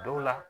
Dɔw la